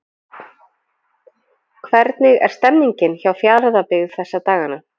Hvernig er stemningin hjá Fjarðabyggð þessa dagana?